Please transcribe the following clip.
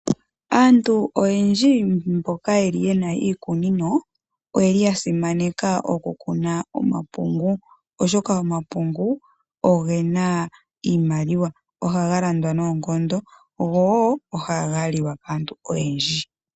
Aantu oyendji mboka yeli yena iikunino oyeli ya simaneka oku kuna omapungu, oshoka omapungu ogena iimaliwa. ohaga landwa noonkondo, gowoo ohaga liwa kaantu oyendji.